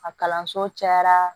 A kalanso cayara